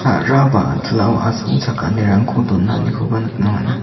sa·ra ba a·tilao asongchakanirangko donanikoba nikna man·a.